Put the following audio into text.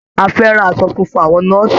A fẹ́ràn aṣọ funfun àwọn nọ́ọ̀sì.